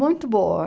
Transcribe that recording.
Muito boa.